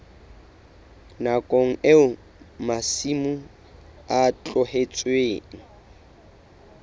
nakong eo masimo a tlohetsweng